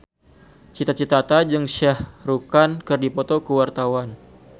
Cita Citata jeung Shah Rukh Khan keur dipoto ku wartawan